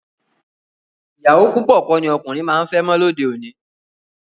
Ìyàwó púpọ̀ kọ́ ni ọkùnrin máa ń fẹ́ mọ́ lóde òní